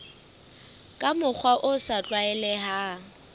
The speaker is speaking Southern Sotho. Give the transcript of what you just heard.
ka mokgwa o sa tlwaelehang